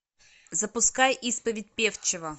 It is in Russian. запускай исповедь певчего